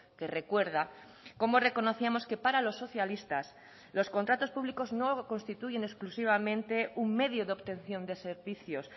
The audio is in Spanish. que recuerda cómo reconocíamos que para los socialistas los contratos públicos no constituyen exclusivamente un medio de obtención de servicios